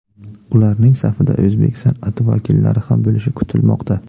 Ularning safida o‘zbek san’ati vakillari ham bo‘lishi kutilmoqda.